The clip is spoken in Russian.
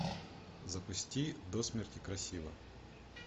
запусти до смерти красива